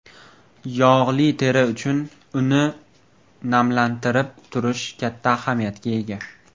Yog‘li teri uchun uni namlantirib turish katta ahamiyatga ega.